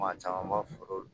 Maa caman b'a foro